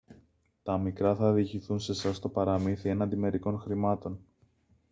τα μικρά θα διηγηθούν σε εσάς το παραμύθι έναντι μερικών χρημάτων